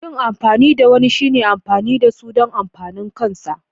Yin amfani da wani shine amfani da su don amfanin kansa.